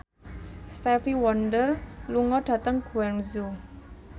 Stevie Wonder lunga dhateng Guangzhou